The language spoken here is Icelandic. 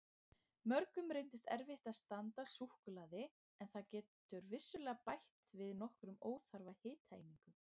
Mörgum reynist erfitt að standast súkkulaði en það getur vissulega bætt við nokkrum óþarfa hitaeiningum.